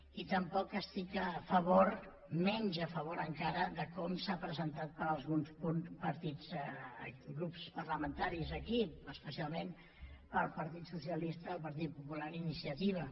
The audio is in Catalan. i tampoc estic a favor menys a favor encara de com s’ha presentat per alguns grups parlamentaris aquí especialment pel partit socialista el partit popular i iniciativa